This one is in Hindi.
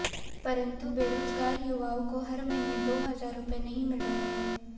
परंतु बेरोजगार युवाओं को हर महीने दो हजार रुपए नहीं मिल रहे हैं